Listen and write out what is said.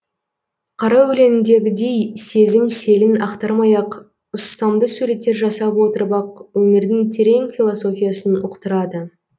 қара өлеңдегідей сезім селін ақтармай ақ ұстамды суреттер жасап отырып ақ өмірдің терең философиясын ұқтырады